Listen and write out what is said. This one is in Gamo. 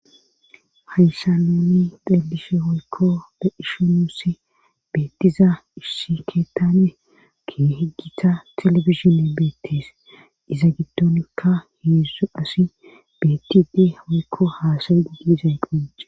hayssa nuni delishe hoykko de ishomusi beettiza issi keettane ki heggitha telebisione beettes iza giddonikka heedzdu asi bettidi hoykko haasayedi diizay qone